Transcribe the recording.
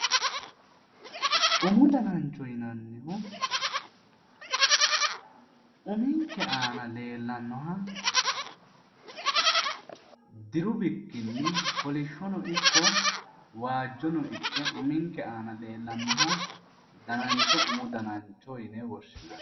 umu danancho yinannihu uminke aana leellannoha diru bikkinni kolishshono ikke waajjono ikke uminke aana leellannoha dananchoho umu danancho yine woshshinanni